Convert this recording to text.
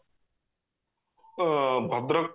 ଅ ଭଦ୍ରକ